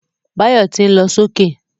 Báyọ̀ tí ń lọ sókè